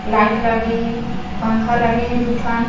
light लगे हे पंखा लगे हे दू ठन --